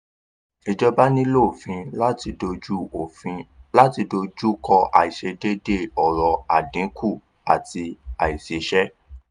ìjọba nílò òfin láti dojú òfin láti dojú kọ àìsedéédéé ọrọ̀ àdínkù àti aìsísẹ́.